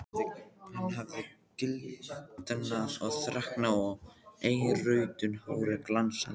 Hann hafði gildnað og þreknað og eirrautt hárið glansaði.